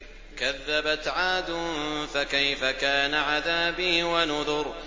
كَذَّبَتْ عَادٌ فَكَيْفَ كَانَ عَذَابِي وَنُذُرِ